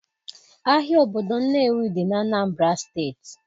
Ahịa obodo Nnewi dị na Anambra steeti